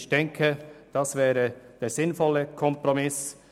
Ich denke, dies wäre ein sinnvoller Kompromiss.